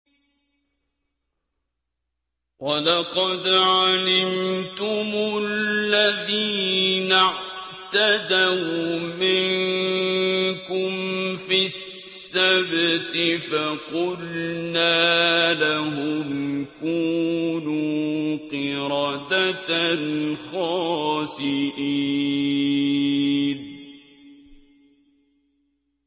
وَلَقَدْ عَلِمْتُمُ الَّذِينَ اعْتَدَوْا مِنكُمْ فِي السَّبْتِ فَقُلْنَا لَهُمْ كُونُوا قِرَدَةً خَاسِئِينَ